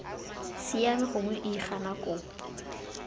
siame gongwe iii gana kopo